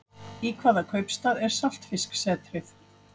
Í hvaða kaupstað er Saltfisksetrið?